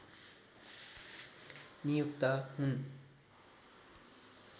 नियुक्त हुन्